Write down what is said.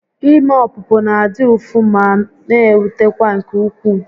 Ime ọpụpụ na adị ụfụ ma n'ewutekwa nke ukwuu